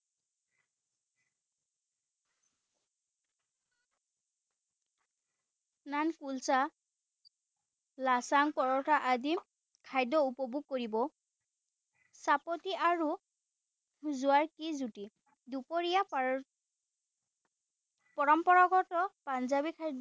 নান কুলসা লাচ্ছাঙ্গ পৰঠা আদি খাদ্য উপভোগ কৰিব চাপটি আৰু কি জুটি দুপৰীয়া পৰম্পৰাগত পাঞ্জাবী খাদ্য়